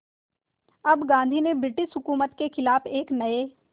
अब गांधी ने ब्रिटिश हुकूमत के ख़िलाफ़ एक नये